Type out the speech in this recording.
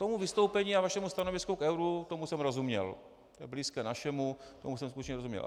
Tomu vystoupení a vašemu stanovisku k euru, tomu jsem rozuměl, to je blízké našemu, tomu jsem skutečně rozuměl.